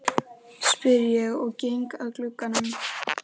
spyr ég og geng að glugganum.